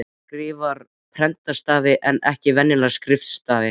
Hún skrifar prentstafi en ekki venjulega skrifstafi.